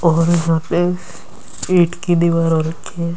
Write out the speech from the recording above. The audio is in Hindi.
और यहां पे ईट की दीवार और रखी है।